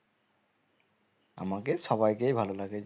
আমাকে সবাইকে ভালো লাগে